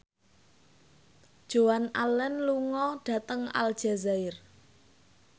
Joan Allen lunga dhateng Aljazair